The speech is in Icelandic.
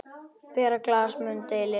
Bera glas mun delinn.